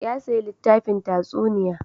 Ya sayi littafin tatsuniya.